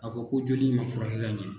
A ko ko joli in ma furakɛ ka ɲɛ.